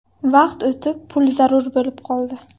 Vaqt o‘tib, pul zarur bo‘lib qoldi.